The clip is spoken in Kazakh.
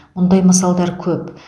мұндай мысалдар көп